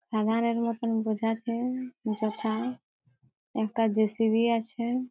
বসে আছে যথা একটা জে.সি.বি. আছে।